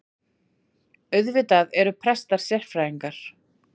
Auðvitað eru prestar sérfræðingar